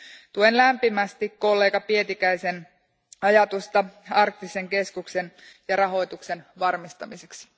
Tuen lämpimästi kollega Pietikäisen ajatusta arktisesta keskuksesta ja sen rahoituksen varmistamisesta.